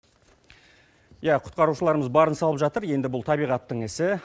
иә құтқарушыларымыз барын салып жатыр енді бұл табиғаттың ісі